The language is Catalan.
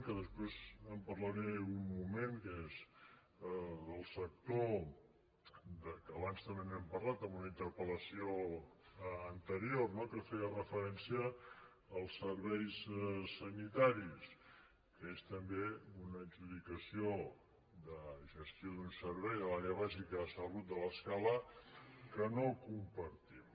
que després en parlaré un moment que és el sector que abans també n’hem parlat en una interpel·lació anterior que feia referència als serveis sanitaris que és també una adjudicació de gestió d’un servei de l’àrea bàsica de salut de l’escala que no compartim